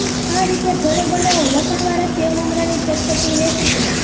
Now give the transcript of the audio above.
આ રીતે ઘરે બનાવો લસણવાળા સેવ મમરાની ચટપટી રેસીપી